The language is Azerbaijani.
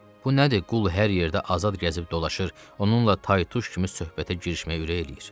Bu nədir, qul hər yerdə azad gəzib dolaşır, onunla tay-tuş kimi söhbətə girişməyə ürək eləyir.